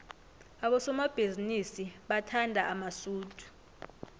abosomabhizinisi bathanda amasudu